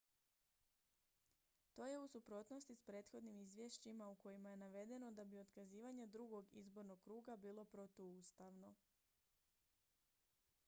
to je u suprotnosti s prethodnim izvješćima u kojima je navedeno da bi otkazivanje drugog izbornog kruga bilo protuustavno